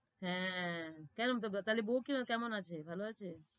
হ্যাঁ তাহলে বউ কেমন আছে? ভালো আছে?